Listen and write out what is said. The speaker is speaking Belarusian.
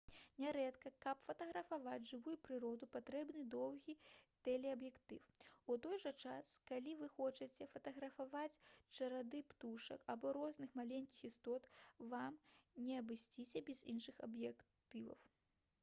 нярэдка каб фатаграфаваць жывую прыроду патрэбны доўгі тэлеаб'ектыў у той жа час калі вы хочаце фатаграфаваць чароды птушак або розных маленькіх істот вам не абысціся без іншых аб'ектываў